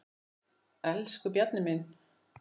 Elsku Bjarni minn.